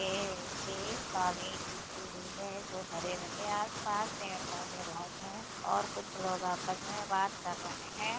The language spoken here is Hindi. यह नीचे एक कालीन बिछी हुई है जो हरे रंग की आस पास पेड़ पौधे बहुत है और कुछ लोग आपस मे बात कर रहे है।